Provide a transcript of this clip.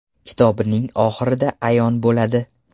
Kitobning oxirida ayon bo‘ladi.